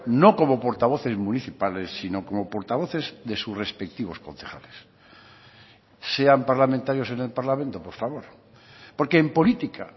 no como portavoces municipales sino como portavoces de sus respectivos concejales sean parlamentarios en el parlamento por favor porque en política